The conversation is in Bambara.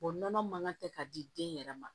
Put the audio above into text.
O nɔnɔ mankan tɛ ka di den yɛrɛ ma